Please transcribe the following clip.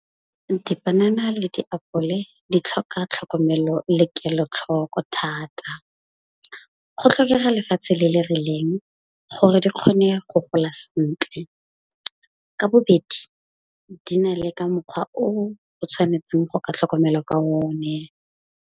Dipanana le diapole di tlhoka tlhokomelo le kelotlhoko thata. Go tlhokega lefatshe le le rileng gore di kgone go gola sentle. Ka bobedi di na le ka mokgwa o o tshwanetseng go ka tlhokomelo ka o ne.